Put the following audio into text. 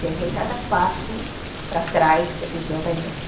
Você vê cada passo para trás que a pessoa vai dando.